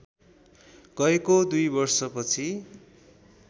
गएको २ वर्षपछि